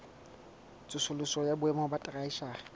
tsosoloso ya boemo ba theshiari